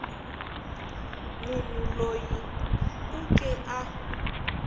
munhu loyi u ke a